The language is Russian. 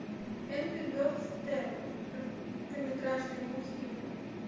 энгри бердс стелла короткометражные мультфильмы